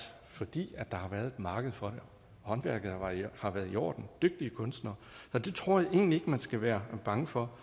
fordi der har været et marked for dem håndværket har været i orden det var kunstnere så det tror jeg egentlig ikke man skal være bange for